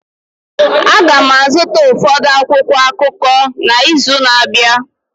Aga m azụta ụfọdụ akwụkwọ akụkọ n'izu na-abịa